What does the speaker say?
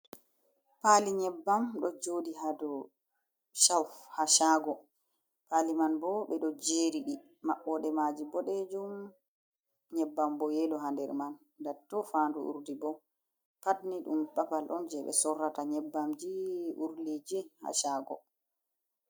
Pali nyebbam ɗo joɗi ha dou shau ha shago pali man bo ɓe ɗo jeri ɗi maɓɓode maji boɗejum, nyebbam bo yelo ha nder man nda tto fandu urdi bo pat ni ɗum babal on je ɓe sorrata nyebbamji urdiji ha sago.